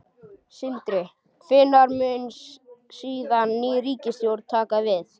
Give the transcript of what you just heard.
Sindri: Hvenær mun síðan ný ríkisstjórn taka við?